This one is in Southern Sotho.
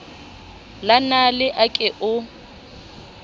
la nale a ke o